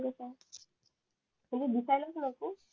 तरी दिसायला कस असतो